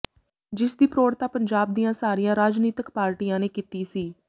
ਜਿਸ ਦੀ ਪ੍ਰੋੜਤਾ ਪੰਜਾਬ ਦੀਆਂ ਸਾਰੀਆਂ ਰਾਜਨੀਤਕ ਪਾਰਟੀਆਂ ਨੇ ਕੀਤੀ ਸੀ